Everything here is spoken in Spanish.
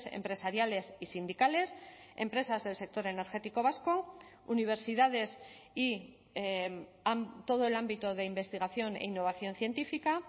empresariales y sindicales empresas del sector energético vasco universidades y todo el ámbito de investigación e innovación científica